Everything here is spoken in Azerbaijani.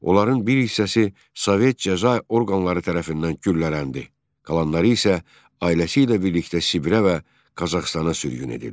Onların bir hissəsi Sovet cəza orqanları tərəfindən güllələndi, qalanları isə ailəsi ilə birlikdə Sibirə və Qazaxıstana sürgün edildi.